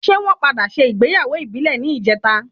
Ṣé wọn padà sé ìgbéyàwó ìbílẹ̀ ní ìjeta?